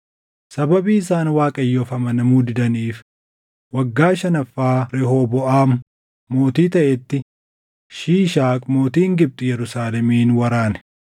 Sababii isaan Waaqayyoof amanamuu didaniif waggaa shanaffaa Rehooboʼaam mootii taʼetti Shiishaaq mootiin Gibxi Yerusaalemin waraane.